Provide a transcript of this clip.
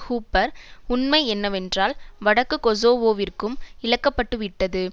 woofer உண்மை என்னவென்றால் வடக்கு கொசோவோவிற்கு இழக்கப்பட்டுவிட்டது